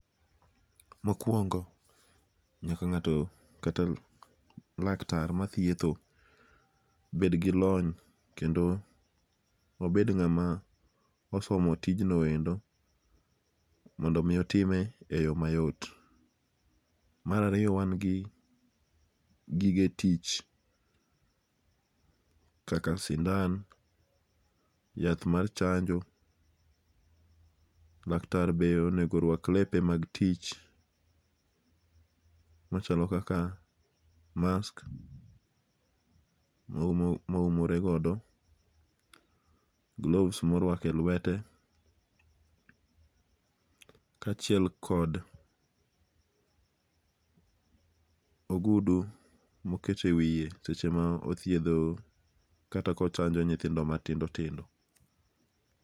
Mokuongo' nyaka nga'to kata lak tar mathietho bedgi lony kendo obed nga'ma osomo tijno endo mondo mi otime e yo mayot , marariyo wan gi gige tich, kaka sindan yath mar chanjo, laktar bende onego rwak lepe mag tich machalo kaka mask moumore godo, gloves maruako e lwete kachiel kod ogudu ma okete wiye seche ma othietho kata ka ochanjo nyithindo matindao tindo.